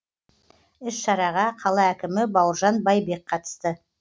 іс шараға қала әкімі бауыржан байбек қатысты